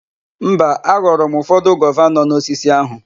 Mba, aghọrọ m ụfọdụ gova nọ n'osisi áhụ̀.